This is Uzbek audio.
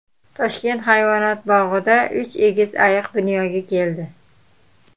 Toshkent hayvonot bog‘ida uch egiz ayiq dunyoga keldi.